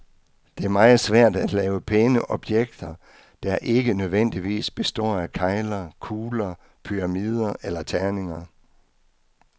Det er meget svært at lave pæne objekter, der ikke nødvendigvis består af kegler, kugler, pyramider eller terninger.